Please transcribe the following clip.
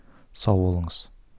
сау болыңыз